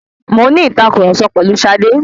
Mo ń ní ìtàkurọ̀sọ pẹ̀lu Ṣadé.